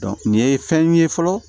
nin ye fɛn ye fɔlɔ